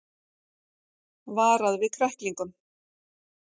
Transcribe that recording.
Varað við kræklingum